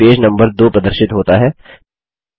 ध्यान दें कि पेज नम्बर 2 प्रदर्शित होता है